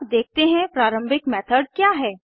अब देखते हैं प्रारम्भिक मेथड क्या है160